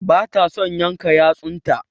Ba ta son yanka yatsun ta.